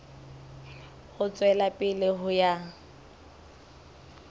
ho tswela pele ho ya